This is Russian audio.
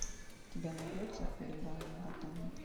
у тебя найдется хулиганы и ботаны